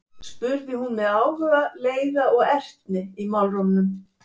spurði hún með áhuga, leiða og ertni í málrómnum.